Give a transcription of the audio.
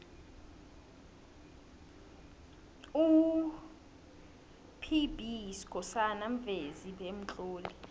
up b skhosana muvezi bemtloli